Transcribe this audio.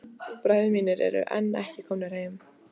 Bræður mínir eru enn ekki komnir heim.